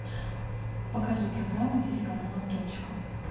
покажи программу телеканала точка